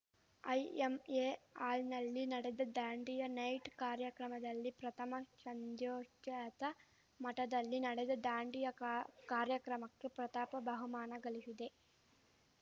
IMA ಹಾಲ್‌ನಲ್ಲಿ ನಡೆದ Dandiya night ಕಾರ್ಯಕ್ರಮದಲ್ಲಿ ಪ್ರಥಮ ಶಂದ್ಯೋಜಾತ ಮಠದಲ್ಲಿ ನಡೆದ ದಾಂಡಿಯಾ ಕಾ ಕಾರ್ಯಕ್ರಮಕ್ಕೆ ಪ್ರತಾಪ ಬಹುಮಾನ ಗಳಿಶಿದೆ